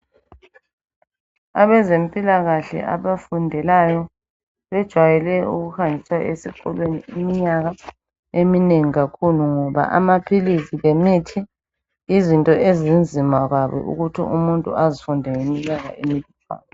Abezempilakahle abafundelayo bejwayele ukuhanjiswa esikolweni iminyaka eminengi kakhulu ngoba amaphilizi lemithi izinto ezinzima kabi ukuthi umuntu azifunde ngeminyaka emilutshwana.